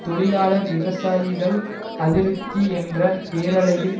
தொழிலாளர் விவசாயிகள் அதிருப்தி என்ற பேரலையில்